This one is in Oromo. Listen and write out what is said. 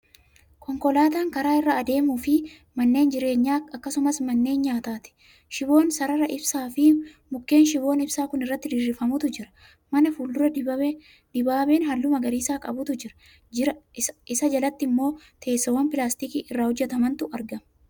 Konkolaataa karaa irra adeemufi manneen jireenyaa akkasumaas manneen nyaataati. shiboon sarara ibsaa Fi mukkeen shiboon ibsaa Kuni irratti diriirfamutu jira. man fuul-dura dibaabeehalluu magariisa qabuutu Jira, Isa jalatti immoo teessoowwan pilaastikii irraa hojjatamantu argama.